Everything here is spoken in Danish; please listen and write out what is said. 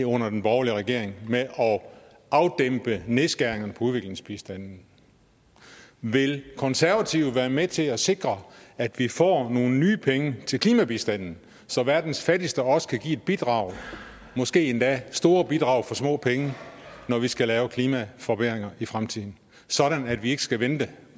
under den borgerlige regering med at afdæmpe nedskæringerne på udviklingsbistanden vil konservative være med til at sikre at vi får nogle nye penge til klimabistanden så verdens fattigste også kan give et bidrag måske endda store bidrag for små penge når vi skal lave klimaforbedringer i fremtiden sådan at vi ikke skal vente